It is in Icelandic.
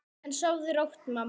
En sofðu rótt, mamma mín.